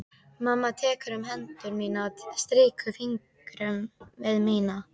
Mamma tekur um hendur mínar og strýkur fingrunum við mína.